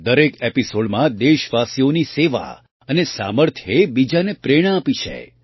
દરેક એપિસૉડમાં દેશવાસીઓની સેવા અને સામર્થ્યએ બીજાને પ્રેરણા આપી છે